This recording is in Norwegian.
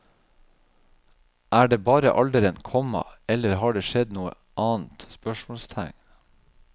Er det bare alderen, komma eller har det skjedd noe annet? spørsmålstegn